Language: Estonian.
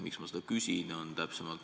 Miks ma seda küsin?